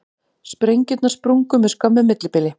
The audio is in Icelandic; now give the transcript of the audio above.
Sprengjurnar sprungu með skömmu millibili